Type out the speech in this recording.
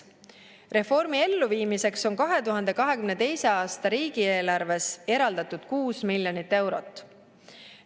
Reformi elluviimiseks on 2022. aasta riigieelarves eraldatud 6 miljonit eurot.